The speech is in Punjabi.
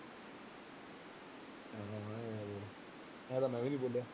ਇਉਂ ਤਾਂ ਮੈਂ ਵੀ ਨੀ ਬੋਲਿਆ।